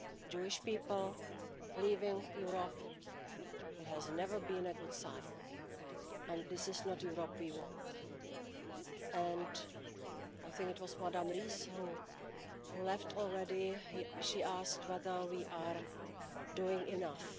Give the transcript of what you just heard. Jewish people leaving Europe has never been a good sign, and this is not a Europe we want. And I think it was Ms Ries, who left already, she asked whether we are doing enough.